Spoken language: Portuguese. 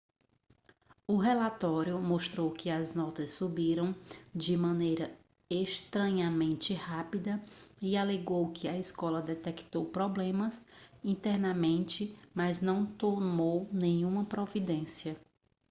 o relatório mostrou que as notas subiram de maneira estranhamente rápida e alegou que a escola detectou problemas internamente mas não tomou nenhuma providência